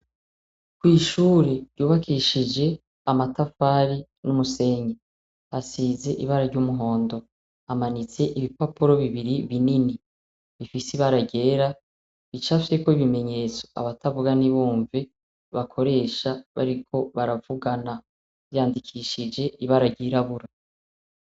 Kw'ishure ryubakishije amatafari n'umusenyi. Asize ibara ry'umuhondo. Hamanitse ibipapuro bibiri binini bifise ibara ryera, bicapfyeko ibimenyetso abatavuga ntibumve bakoresha bariko baravugana. Vyandikishije ibara ryirabura.